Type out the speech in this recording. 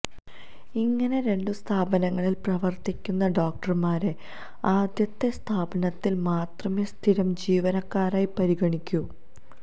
ഇങ്ങനെ രണ്ടു സ്ഥാപനങ്ങളില് പ്രവര്ത്തിക്കുന്ന ഡോക്ടര്മാരെ ആദ്യത്തെ സ്ഥാപനത്തില് മാത്രമേ സ്ഥിരം ജീവനക്കാരനായി പരിഗണിക്കൂ